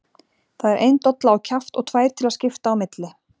Það er ein dolla á kjaft og tvær til að skipta á milli!